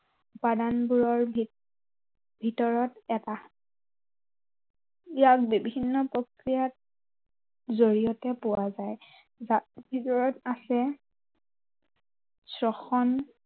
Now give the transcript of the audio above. বাদামবোৰৰ ভিতৰত এটা ইয়াত বিভিন্ন প্ৰক্ৰিয়াত, জড়িয়তে পোৱা যায়। যাৰ ভিতৰত আছে স্বখন